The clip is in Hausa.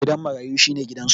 Gidan marayu shi ne gidansu.